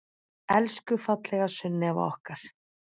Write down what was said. Elsku fallega Sunneva okkar.